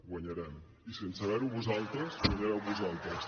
guanyarem i sense veure ho vosaltres guanyareu vosaltres